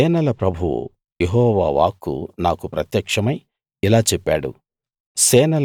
సేనల ప్రభువు యెహోవా వాక్కు నాకు ప్రత్యక్షమై ఇలా చెప్పాడు